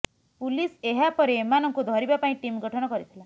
police ଏହାପରେ ଏମାନଙ୍କୁ ଧରିବା ପାଇଁ ଟିମ୍ ଗଠନ କରିଥିଲା